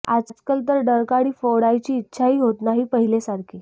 आजकाल तर डरकाळी फोडायची इच्छाही होत नाही पहिले सारखी